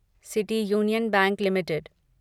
city union bank limited